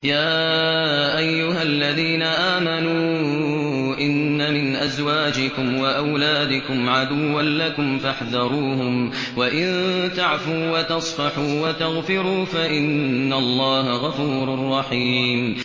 يَا أَيُّهَا الَّذِينَ آمَنُوا إِنَّ مِنْ أَزْوَاجِكُمْ وَأَوْلَادِكُمْ عَدُوًّا لَّكُمْ فَاحْذَرُوهُمْ ۚ وَإِن تَعْفُوا وَتَصْفَحُوا وَتَغْفِرُوا فَإِنَّ اللَّهَ غَفُورٌ رَّحِيمٌ